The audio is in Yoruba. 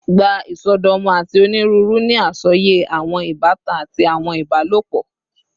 Gba isọdọmọ ati oniruuru ni asọye awọn ibatan ati awọn ibalopọ